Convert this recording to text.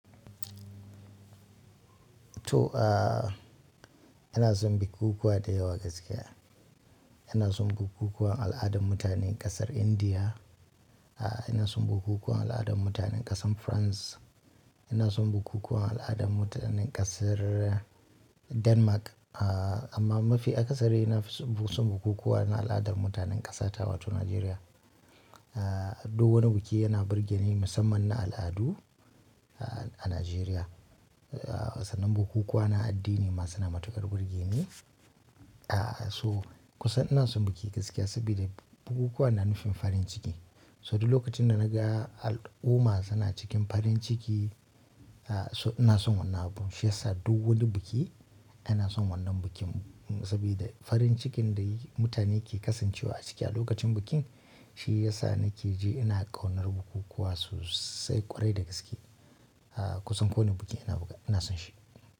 To, aah, ana son bukukuwa gaskiya ina son bukukuwan al'adar mutanen ƙasar Indiya. Ina son bukukuwan al'adar mutanen ƙasar France. Ina son bukukuwan al'adar mutanen ƙasar Denmark. Amma mafi akasari na fi son bukukuwa na al'adan mutanen ƙasa ta, wato Nigeria. Duk wani biki yana birgeni musamman na al'adu a Nijeriya. Sannan bukukuwa na addini masu na matukar burge ni. To, kusan ina son biki sabida bukukuwa yanufin farin ciki so duk lokacin da na ga al'umma suna cikin farin ciki, so ina son wannan abun. Shiya sa duk wani biki ana son wannan bikin saboda farin cikin da mutane ke kasancewa a ciki a lokacin bikin, shi ya sa na ke ji ina ƙaunar bukukuwa sosai kwarai da gaske. Kusan kowane biki ana buga ina son shi.